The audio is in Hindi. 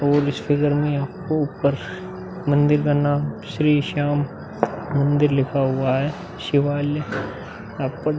और इस फिगर में आपको ऊपर मंदिर का नाम श्री श्याम मंदिर लिखा हुआ है। शिवालय आप पर --